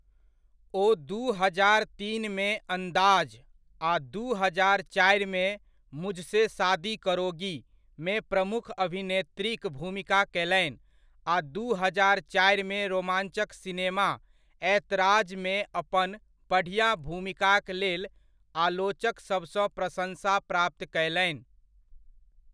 ओ दू हजार तीन मे 'अंदाज़' आ दू हजार चारिमे 'मुझसे शादी करोगी' मे प्रमुख अभिनेत्रीक भूमिका कयलनि आ दू हजार चारिमे रोमाञ्चक सिनेमा 'ऐतराज'मे अपन बढ़िआँ भूमिकाक लेल आलोचकसभसँ प्रशंसा प्राप्त कयलनि।